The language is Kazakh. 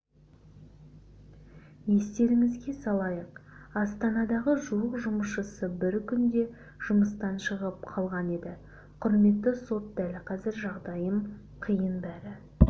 естеріңізге салайық астанадағы жуық жұмысшысы бір күнде жұмыстан шығып қалған еді құрметті сот дәл қазір жағдайым қиын бәрі